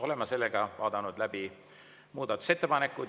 Oleme vaadanud läbi muudatusettepanekud.